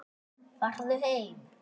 Farðu heim!